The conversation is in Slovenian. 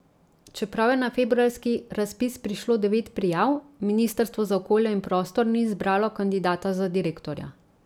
Čeprav je na februarski razpis prišlo devet prijav, ministrstvo za okolje in prostor ni izbralo kandidata za direktorja.